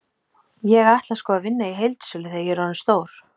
Ég ætla sko að vinna í heildsölu þegar ég er orðinn stór.